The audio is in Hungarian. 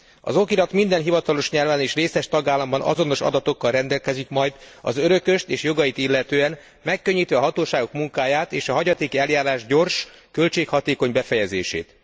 Az okirat minden hivatalos nyelven és részes tagállamban azonos adatokkal rendelkezik majd az örököst és jogait illetően, megkönnyíti a hatóságok munkáját és a hagyatéki eljárás gyors, költséghatékony befejezését.